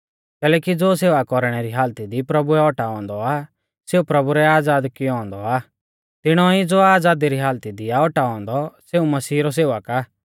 कैलैकि ज़ो सेवा कौरणै री हालती दी प्रभुऐ औटाऔ औन्दौ आ सेऊ प्रभु रै आज़ाद कियौ औन्दौ आ तिणौ ई ज़ो आज़ादी री हालती आ औटाऔ औन्दौ सेऊ मसीह रौ सेवक आ